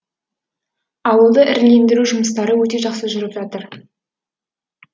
ауылды ірілендіру жұмыстары өте жақсы жүріп жатыр